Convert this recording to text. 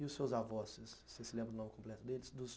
E os seus avós, vocês se lembram do nome completo deles?